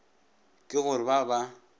ke go re ba ba